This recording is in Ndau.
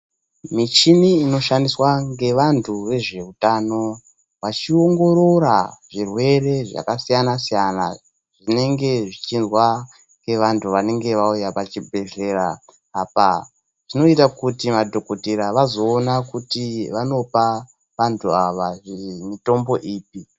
Michini inoshandiswa ngevantu vezveutano, vachiongorora zvirwere zvakasiyana siyana zvinenge zvichizwa ngevantu vanenge vauya pachibhedhlera, apa zvinoita kuti madhokothera vazoona kuti vanopa vantu ava mitombo ipi.